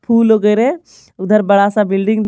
फूल वगैरह उधर बड़ा सा बिल्डिंग --